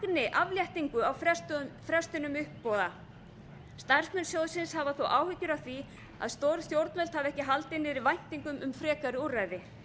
ags fagni afléttingu á frestunum uppboða starfsmenn sjóðsins hafa þó áhyggjur af því að stjórnvöld hafi ekki haldið niður væntingum um frekari úrræði